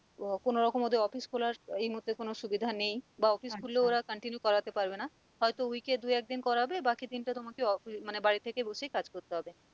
আহ কোন রকম ওদের office খোলার এই মুহর্তে কোন সুবিধা নেই বা office খুলেও ওরা continue করাতে পারবে না হয়তো week এ দু-একদিন করাবে বাকি দিন টা তোমাকে মানে বাড়ি থেকে বসেই কাজ করতে হবে